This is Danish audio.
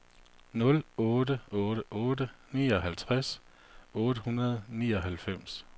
nul otte otte otte nioghalvtreds otte hundrede og nioghalvfems